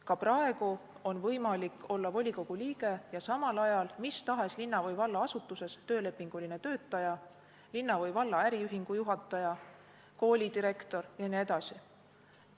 Ka praegu on võimalik olla volikogu liige ning samal ajal mis tahes linna- või vallaasutuses töölepinguline töötaja, linna või valla äriühingu juhataja, koolidirektor jne.